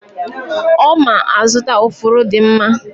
Oma azụta ufuru di mma.